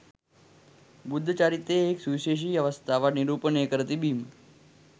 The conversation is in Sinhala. බුද්ධ චරිතයේ එක් සුවිශේෂී අවස්ථාවක් නිරූපණය කර තිබීම